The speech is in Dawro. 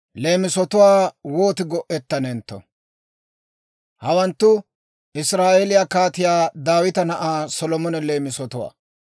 Hawanttu Israa'eeliyaa Kaatiyaa Daawita na'aa Solomona leemisatwaa.